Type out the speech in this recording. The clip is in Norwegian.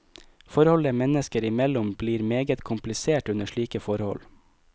Forholdet mennesker imellom blir meget komplisert under slike forhold.